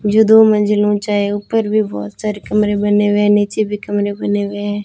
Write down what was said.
जो दो मंजिल ऊंचा है ऊपर भी बहुत सारे कमरे बने हुए हैं नीचे भी कमरे बने हुए हैं।